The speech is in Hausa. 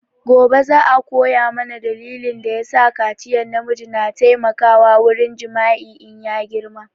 Gobe za a koya mana dalilin da ya sakaciyan na miji na taimakawa wurin jima'i in ya girma